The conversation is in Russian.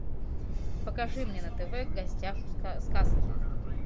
покажи мне на тв в гостях у сказки